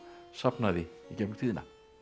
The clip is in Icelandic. safnaði í gegnum tíðina